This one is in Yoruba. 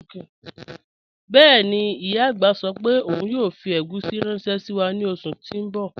Bẹẹni, iya agbá sọ pe ọun yoo fi egusi ranṣẹ si wa ni oṣu ti n bọ